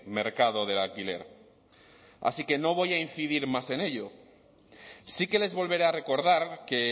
mercado del alquiler así que no voy a incidir más en ello sí que les volveré a recordar que